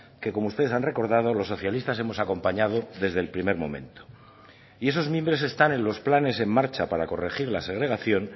que como ustedes han recordado los socialistas hemos acompañado desde el primer momento y esos mimbres están en los planes en marcha para corregir la segregación